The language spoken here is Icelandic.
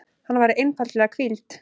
Hann væri einfaldlega hvíld.